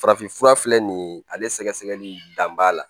Farafinfura filɛ nin ye ale sɛgɛsɛgɛli dan b'a la